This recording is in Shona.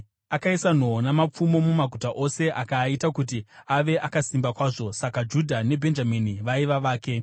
Akaisa nhoo namapfumo mumaguta ose, akaaita kuti ave akasimba kwazvo. Saka Judha neBhenjamini vaiva vake.